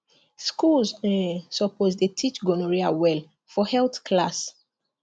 schools um suppose dey teach gonorrhea well for health class